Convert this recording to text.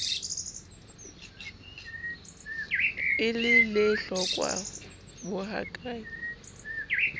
le lehlokwa bo ha ke